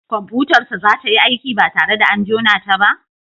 Kwamfutar sa za tayi aiki ba tare da an jona ta ba?